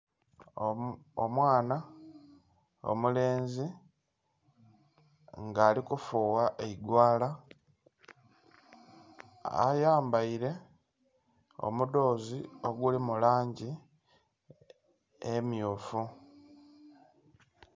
Omwana omulenzi nga alikufuwa eigwaala ayambaile omudhoozi oguli mu langi emmyufu.